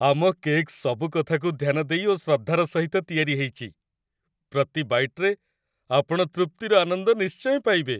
ଆମ କେକ୍ ସବୁ କଥାକୁ ଧ୍ୟାନ ଦେଇ ଓ ଶ୍ରଦ୍ଧାର ସହିତ ତିଆରି ହେଇଛି, ପ୍ରତି ବାଇଟ୍‌ରେ ଆପଣ ତୃପ୍ତିର ଆନନ୍ଦ ନିଶ୍ଚୟ ପାଇବେ।